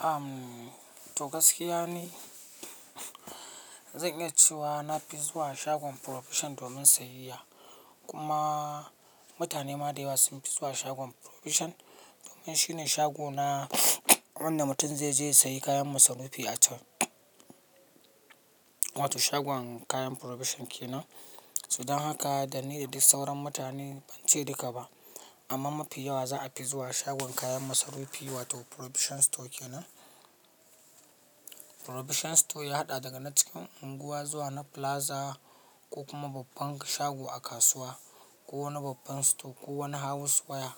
Umm, to gaskiya ne. Zan iya cewa na fi zuwa shagon Provision domin siyayya kuma mutane ma da yawa sun fi zuwa shagon Provision. Domin shine shago na wanda mutum zai je ya sayi kayan masarufi a can. Wato shagon kayan Provision ke nan. So dan haka da ni da dik sauran mutane, ban ce duka ba amma mafi yawa za a fi zuwa shagon kayan masarufi wato Provision store kenan. Provision store ya haɗa daga na cikin unguwa zuwa na plaza ko kuma babban shago a kasuwa ko wani babban store ko wani house waya,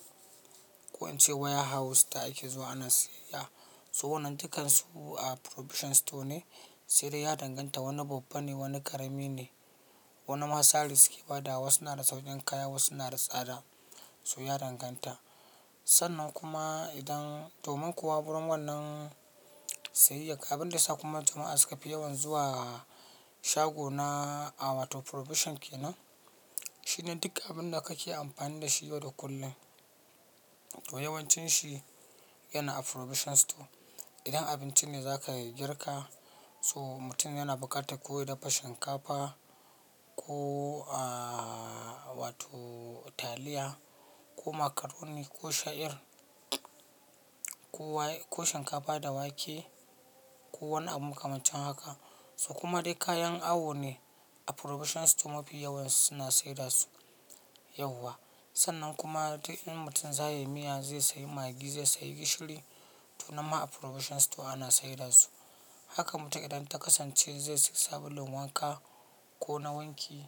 ko in ce waya house ta ake zuwa ana siyayya. So wannan dukkan su a Provision store ne, sai dai ya danganta wani babba ne wani ƙarami ne. Wani ma sari suke bada wa su na da sauƙin kaya wasu na da tsada. So ya danganta. Sannan kuma idan domin kuwa gurin wannan siyayya, abinda yasa kuma jama'a suka fi yawan zuwa shago na a wato Provision ke nan. Shine dik abinda kake amfani da shi yau da kullum. To yawancin shi yana a Provision store. Idan abinci ne za ka girka, so mutum yana buƙatarsa koya dafa shinkafa ko a wato taliya ko makaroni ko sha'ir ko waya ko shinkafa da wake ko wani abu makamancin haka. To kuma dai kayan awo ne, Provision store mafi yawansu suna saida su yauwa. Sannan kuma duk in mutum za ya yi miya zai sayi magi, zai sayi gishiri to nan ma a Provision store ana saida su. Haka mutum idan ta kasance zai sayi sabulun wanka ko na wanki,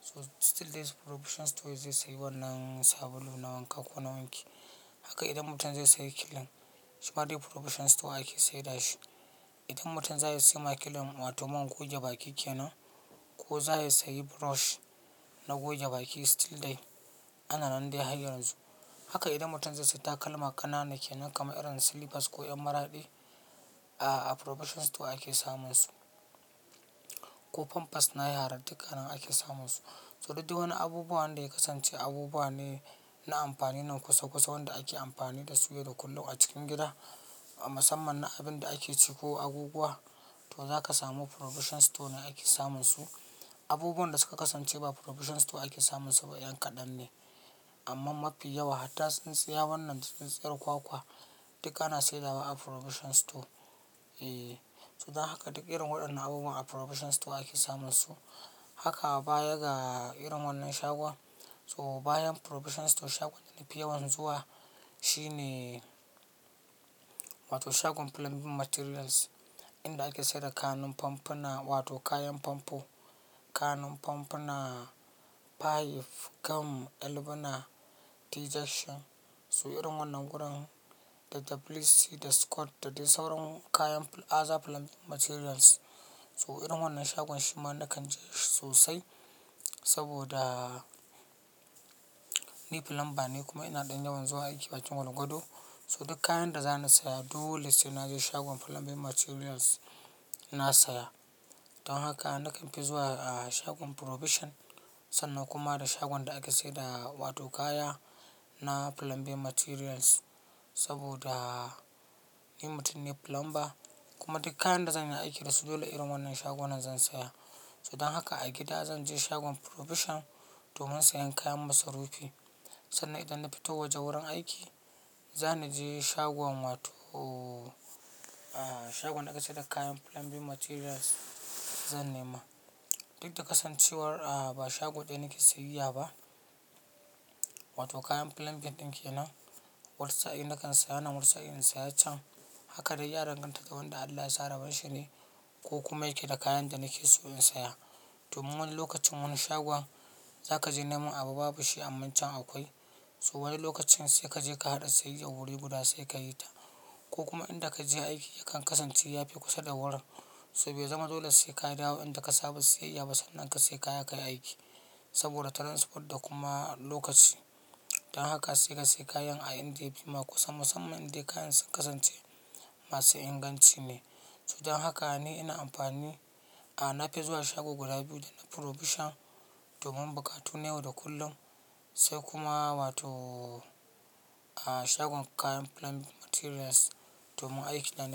so still dai Provision store zai sayi wannan sabulu na wanka ko na wanki. Haka idan mutum zai sayi kilin shi ma dai Provision store ake saida shi. Idan mutum za ya siya makilin wato man goge baki kenan ko za ya sayi brush na goge baki still dai ana nan dai ha yanzu. Haka idan mutum zai sayi takalma ƙanana kenan kamar irin slippers ko ƴan maraɗi, a Provision store ake samun su. Ko pampers na yara duk anan ake samun su. To dik wani abubuwan da ya kasance abubuwa ne na amfani na kusa-kusa wanda ake amfani da su yau da kullum a cikin gida, a musamman na abinda ake ci ko abubuwa, to za ka samu Provision store ne ake samun su. Abubuwan da suka kasance ba Provision store ake samun su ba ƴan kaɗan ne. Amman mafi yawa hatta tsintsiya wannan tsintsiyar kwakwa duka ana saidawa a Provision store. Eeh, so dan haka duk irin waɗannan abubuwa a Provision store ake samun su. Haka baya ga irin wannan shagon so bayan Provision store shagon da na fi yawan zuwa shine wato shagon Plumbing materials. Inda ake saida kanun pompuna wato kayan famfo, kanun pompuna, pipe, gam, albuna, teljection. So irin wannan gurin da ɗab'ici da skot da dai sauran kayan aza Plumbing materials. So irin wannan shagon shi ma nakan je shi sosai saboda nif number ne kuma ina ɗan yawan zuwa aiki bakin gwargwado. To duk kayan da za na siya dole sai na je shagon Plumbing materials na saya. Don haka nakan fi zuwa a shagon Provision sannan kuma da shagon da ake saida wato kaya na Plumbing materials saboda ni mutum ne plumber. Kuma duk kayan da zan yi aiki da su dole irin wannan shagu nan zan saya. So dan haka a gida zan je shagon Provision domin sayen kayan masarufi. Sannan idan na fito waje wurin aiki, za ni je shagon wato a shagon da ake saida kayan Plumbing materials zan nema. Duk da kasancewar a ba shago ɗaya nake siyayya ba wato kayan plumbing ɗin kenan, wasu sa in nakan saya nan wasu in saya can. Haka dai ya danganta da wanda Allah ya sa rabon shi ne ko kuma yake da kayan da nake so in siya. Domin wani lokacin wani shagon za ka je neman abu babu shi amma can akwai. So wani lokacin sai ka je ka haɗa siyayya wuri guda sai ka yi ta. Ko kuma in da ka je aiki yakan kasance ya fi kusa da wurin. To bai zama dole sai ka dawo inda ka saba siyayya ba sannan ka sai kaya ka yi aiki. Saboda transport da kuma lokaci. Don haka sai ka sai kayan a inda yafima kusa musamman inda kayan sun kasance masu inganci ne. To dan haka ni ina amfani, a na fi zuwa shago guda biyu na Provision domin buƙatu na yau da kullum sai kuma wato a shagon kayan Plumbing materials domin aikina.